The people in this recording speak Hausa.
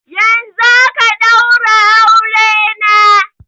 Yanzun aka ɗaura aure na